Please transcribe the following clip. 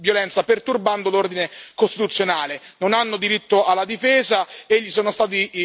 Non hanno diritto alla difesa e sono stati contestati loro ben quattro violazioni del codice penale.